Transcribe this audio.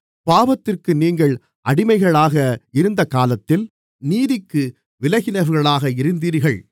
பாவத்திற்கு நீங்கள் அடிமைகளாக இருந்தகாலத்தில் நீதிக்கு விலகினவர்களாக இருந்தீர்கள்